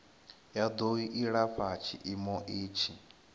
ya do ilafha tshiimo itshi